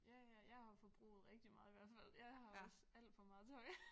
Ja ja jeg har jo forbruget rigtig meget i hvert fald jeg har også alt for meget tøj